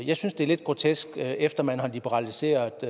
jeg synes det er lidt grotesk efter man har liberaliseret